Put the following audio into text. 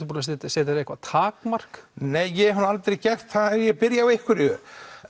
búinn að setja setja þér eitthvað takmark nei ég hef nú aldrei gert það ef ég byrja á einhverju